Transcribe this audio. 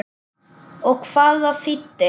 Og hvað það þýddi.